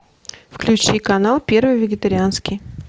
включи канал первый вегетарианский